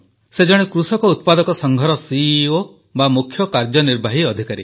ସେ ଜଣେ କୃଷକ ଉତ୍ପାଦକ ସଂଘର ସିଇଓ ବା ମୁଖ୍ୟ କାର୍ଯ୍ୟନିର୍ବାହୀ ଅଧିକାରୀ